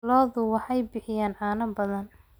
Lo'du waxay bixiyaan caano badan.